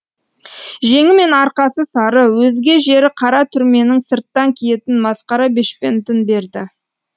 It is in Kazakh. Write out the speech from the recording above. жеңі мен арқасы сары өзге жері қара түрменің сырттан киетін масқара бешпентін берді